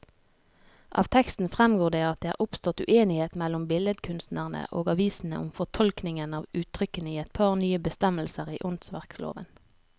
Av teksten fremgår det at det er oppstått uenighet mellom billedkunstnerne og avisene om fortolkningen av uttrykkene i et par nye bestemmelser i åndsverkloven.